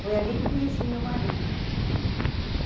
Foi ali que eu conheci meu marido.